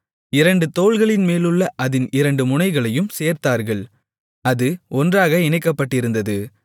இரண்டு தோள்களின்மேலுள்ள அதின் இரண்டு முனைகளையும் சேர்த்தார்கள் அது ஒன்றாக இணைக்கப்பட்டிருந்தது